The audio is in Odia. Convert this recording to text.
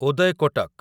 ଉଦୟ କୋଟକ